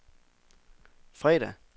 fredag